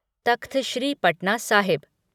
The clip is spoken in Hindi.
तख्त श्री पटना साहिब